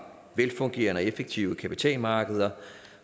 velfungerende og effektive kapitalmarkeder